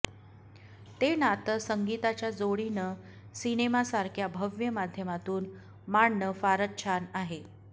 ते नातं संगीताच्या जोडीनं सिनेमासारख्या भव्य माध्यमातून मांडणं फारच छान आहे